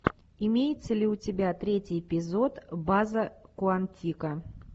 имеется ли у тебя третий эпизод база куантика